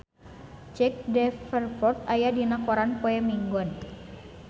Jack Davenport aya dina koran poe Minggon